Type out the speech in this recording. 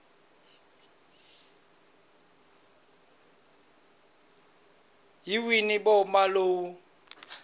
hi wihi movha lowu u